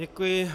Děkuji.